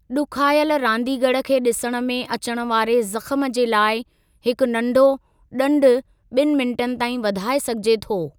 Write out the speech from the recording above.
ॾुखायलु रांदीगरु खे ॾिसणु में अचण वारे जख़्म जे लाइ हिकु नढो ॾंडु ॿिनि मिन्टनि ताईं वधाए सघिजे थो।